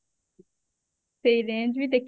ସେଇ range ବି ଦେଖିବା